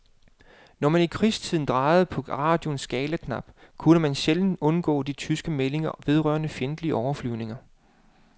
Når man i krigstiden drejede på radioens skalaknap, kunne man sjældent undgå de tyske meldinger vedrørende fjendtlige overflyvninger.